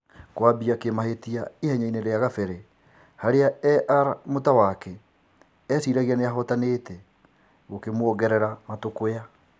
Kũambĩa kĩmahĩtia ihenyainĩ rĩa gabere - harĩa Er Mũtawake eciragia nĩahotanĩte - gũkĩmuongerera matũkũya.